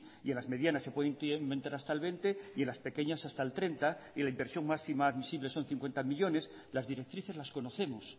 y en las medianas se puede incrementar hasta el veinte por ciento las pequeñas hasta el treinta por ciento y la inversión máxima admisible son cincuenta millónes las directrices las conocemos